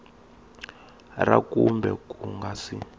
ra kumbe ku nga si